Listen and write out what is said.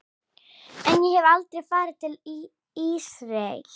En ég hef aldrei farið til Ísraels.